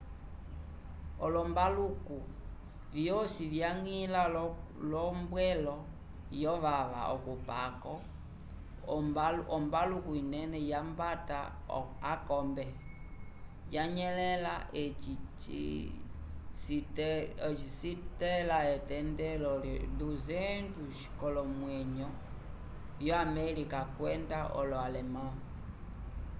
olombaluku vyosi vyañgila k'ombwelo yovava okupako ombaluku linene yambata akombe vanyelẽla eci citẽla etendelo 200 k'olomwenyo vyo-americana kwenda olo-alemã